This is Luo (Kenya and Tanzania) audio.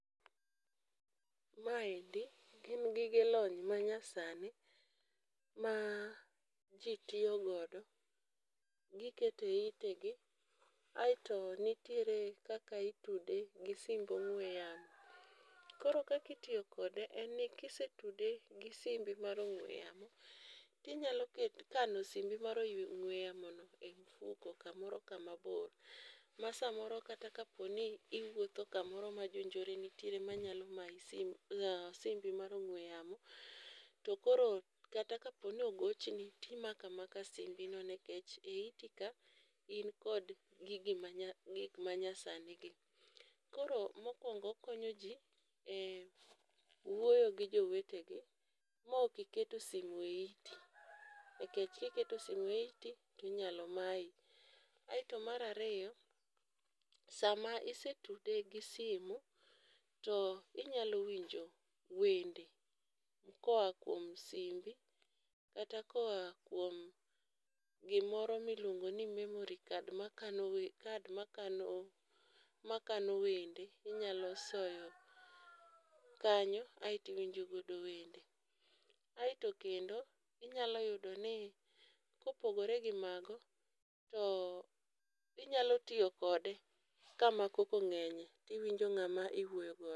Ma endi, gin gige lony manyasani, ma ji tiyo godo. Gikete itegi ,aito nitie kaka itude gi simb ong'we yamo. Koro kaka itiyo kode enni, kisetude gi simbi mar ong'we yamo, tinyalo kano simbi mar ong'we yamono e mfuko kamoro kamabor. Ma samoro kata kaponi iwuotho kamoro ma jonjore nitie manyalo mayi sim, simbi mar ong'we yamo, to koro kata koponi ogochni timako amaka simbino nikech e itika, in kod gik manyasanigi. Koro mokwongo okonyo ji, e wuoyo gi jowetegi ma ok iketo sim e iti, nikech kiketo sim e iti to inyalo mayi. Kaito mar ariyo, saa ma isetude gi simu, to inyalo winjo wende koa kjom simbi, kata koa kuom gimoro miluongo ni memory card , card makano wende minyalo soyo kanyo aito iwinjo godo wende. Aito kendo ,inyalo yudo ni kopogore gi mago, to inyalo tiyo kode kama koko ng'enye to iwinjo ng'ama iwuoyo godo.